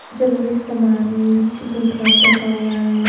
जरूरी समान है जैसे कि खाट रखा हुआ है।